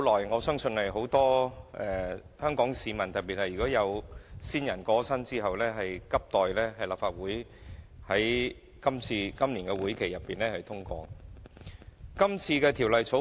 我相信這是很多香港市民，特別是有親人過身的市民等待已久，希望立法會在今個會期內盡快通過的《條例草案》。